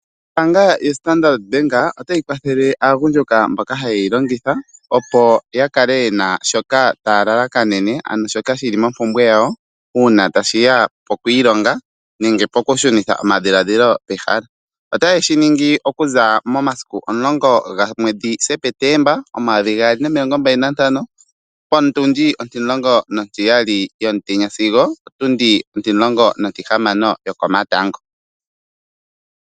Ombaanga yo Standard otayi kwathele aagundjuka mboka hanyeyi longitha oo yakale yena shoka taya lalakanene ano shoka shili mompumbwe yawo uuna tashiya pokwiilonga nenge poku shunitha omadhilaadhilo pehala. Ota yeshiningi okuza momasiku omulongo gwomwedhi Sepetemba, omayovi gaali nomilongo mbali nantano potundi ontimulongo nontiyali yomutenya sigo otundi ontihamano yokomatango.